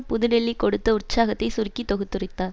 புதுடெல்லி கொடுத்த உற்சாகத்தை சுருக்கி தொகுத்துரைத்தார்